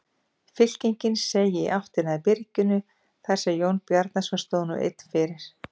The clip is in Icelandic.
Fylkingin seig í áttina að byrginu þar sem Jón Bjarnason stóð nú einn fyrir.